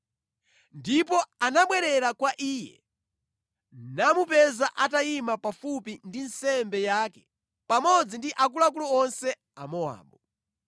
Ndipo anabwerera kwa iye namupeza atayima pafupi ndi nsembe yake pamodzi ndi akuluakulu onse a Mowabu.